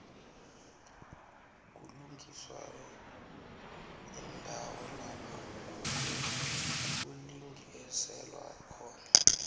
kulungiswa iindawo lapha kuyokulingiselwa khona